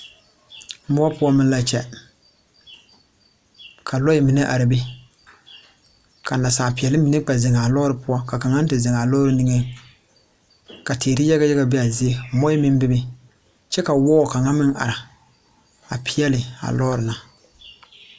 MUO poɔ meŋ la kyɛ ka lɔɛ are are a be ka nasaali peɛli mine kpɛ ziŋ a lɔɔri poɔ ka kaŋ te ziŋ a lɔɔri nigeŋ ka teere yaga yaga be a zie muoɛ meŋ bebe kyɛ ka wɔɔ kaŋa meŋ are peɛli a lɔɔri na.